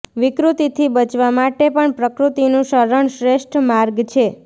વિકૃતિથી બચવા માટે પણ પ્રકૃતિનું શરણ શ્રેષ્ઠ માર્ગ છે